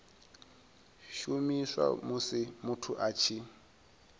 shumiswa musi muthu a tshi